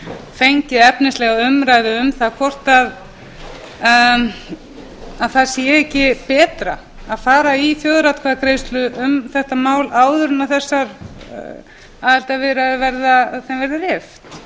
fengið efnislega umræðu um það hvort það sé ekki betra að fara í þjóðaratkvæðagreiðslu um þetta mál áður en þessar aðildarviðræður þeim verður rift